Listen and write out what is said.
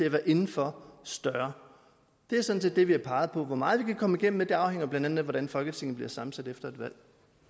at være indenfor større det er sådan set det vi har peget på hvor meget vi kan komme igennem med afhænger blandt andet af hvordan folketinget bliver sammensat efter et valg